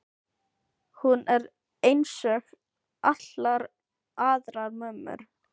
Hún er einsog allar aðrar mömmur.